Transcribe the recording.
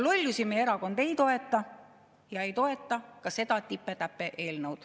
Lollusi meie erakond ei toeta ja ei toeta ka seda tipe-täpe eelnõu.